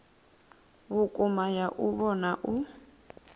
vhukuma ya u vhona u